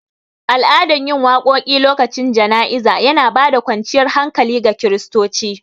Al'adan yin waƙoƙi lokacin jana'iza yana bada kwanciyar hankali ga kiristoci